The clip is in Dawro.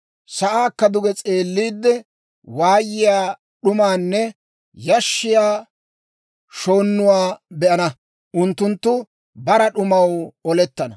Sa'aakko duge s'eelliide, waayiyaa, d'umaanne yashshiyaa shoonnuwaa be'ana; unttunttu bara d'umaw olettana.